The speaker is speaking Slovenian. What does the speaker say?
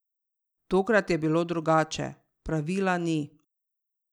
Tokrat je bilo drugače: 'Pravila ni.